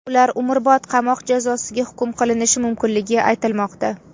Ular umrbod qamoq jazosiga hukm qilinishi mumkinligi aytilmoqda.